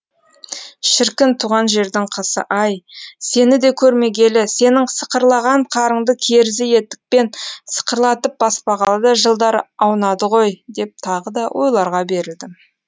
шіркін туған жердің қысы ай сені де көрмегелі сенің сықырлаған қарыңды керзі етікпен сықырлатып баспағалы да жылдар аунады ғой деп тағы да ойларға берілдім